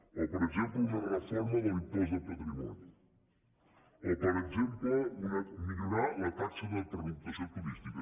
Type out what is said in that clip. o per exemple una reforma de l’impost de patrimoni o per exemple millorar la taxa de pernoctació turística